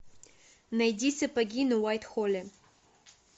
найди сапоги на уайтхолле